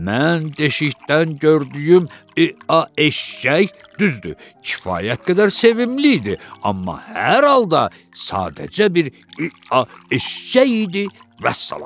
Mən deşikdən gördüyüm eee eşşək düzdür, kifayət qədər sevimli idi, amma hər halda sadəcə bir eee eşşək idi, vəssalam.